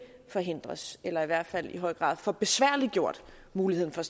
forhindres eller i høj grad får besværliggjort muligheden for